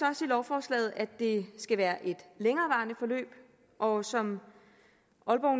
i lovforslaget også at det skal være et længerevarende forløb og som